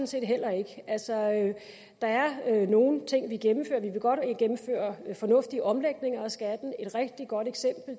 set heller ikke der er nogle ting vi gennemfører vi vil godt gennemføre fornuftige omlægninger af skatten et rigtig godt